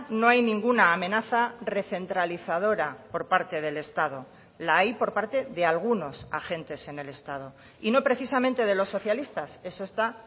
no hay ninguna amenaza recentralizadora por parte del estado la hay por parte de algunos agentes en el estado y no precisamente de los socialistas eso está